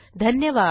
धन्यवाद